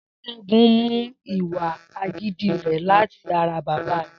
S̩é̩gun mú ìwà agídí rè̩ láti ara bàbá rè̩